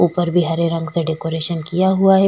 ऊपर भी हरे रंग से डेकोरेशन किया हुआ है।